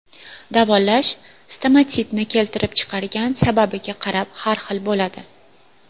Davolash stomatitni keltirib chiqargan sababiga qarab har xil bo‘ladi.